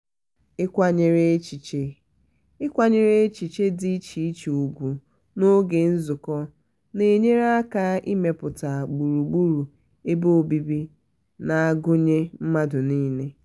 ịkwanyere echichi ịkwanyere echichi dị iche iche ùgwù n'oge nzukọ na-enyere aka ịmepụta gburugburu ebe obibi na-agunye mmadụ niile.